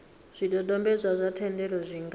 zwidodombedzwa zwa thendelo zwi nga